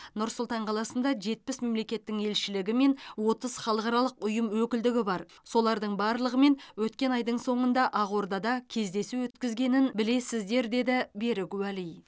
нұр сұлтан қаласында жетпіс мемлекеттің елшілігі мен отыз халықаралық ұйым өкілдігі бар солардың барлығымен өткен айдың соңында ақордада кездесу өткізгенін білесіздер деді берік уәли